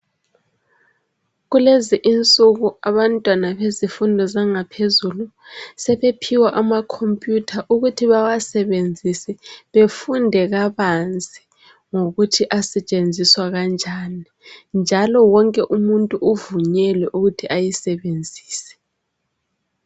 Kulezi insuku abantwana bezifundo zangaphezulu sebephiwa ama computer ukuthi bawasebenzise befunde kabanzi ngokuthi asetshenziswa kanjani, njalo wonke umuntu uvunyelwe ukuthi ayisebenzise.